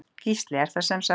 Gísli: Er það semsagt.